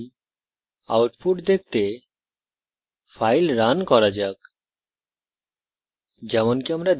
তাই output দেখতে file run করা যাক